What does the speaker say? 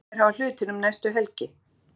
Hvernig mun Heimir hafa hlutina um næstu helgi?